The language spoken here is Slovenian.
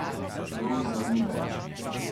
Lojza ni več.